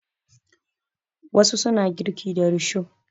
Wasu suna girki da risho.